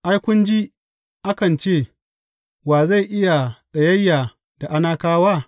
Ai, kun ji akan ce, Wa zai iya tsayayya da Anakawa?